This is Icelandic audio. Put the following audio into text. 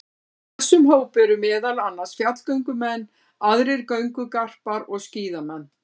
Í þessum hópi eru meðal annars fjallgöngumenn, aðrir göngugarpar og skíðamenn.